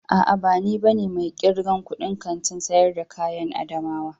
A'a, ba ni bane mai irgan kudin Kantin sayar da kayan adamawa.